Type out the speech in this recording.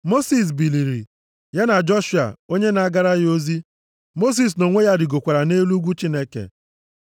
Mosis biliri, ya na Joshua onye na-agara ya ozi. Mosis nʼonwe ya rigokwara nʼelu ugwu Chineke.